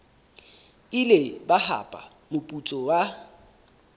ile ba hapa moputso wa